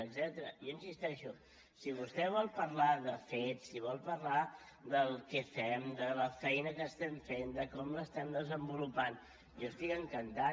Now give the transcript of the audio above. jo hi insisteixo si vostè vol parlar de fets si vol parlar de què fem de la feina que estem fent de com l’estem desenvolupant jo estic encantat